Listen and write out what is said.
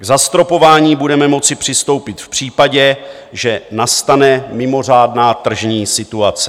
K zastropování budeme moci přistoupit v případě, že nastane mimořádná tržní situace.